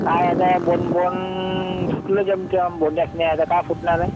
काय आता bone, bone फुटलं आता काय फुटणारे.